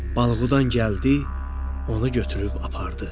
Balıqudan gəldi, onu götürüb apardı.